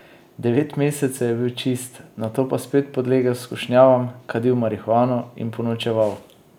Devet mesecev je bil čist, nato pa spet podlegel skušnjavam, kadil marihuano in ponočeval.